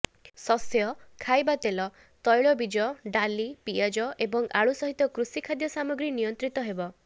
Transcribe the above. ଶସ୍ୟ ଖାଇବା ତେଲ ତୈଳବୀଜ ଡାଲି ପିଆଜ ଏବଂ ଆଳୁ ସହିତ କୃଷି ଖାଦ୍ୟ ସାମଗ୍ରୀ ନିୟନ୍ତ୍ରିତ ହେବ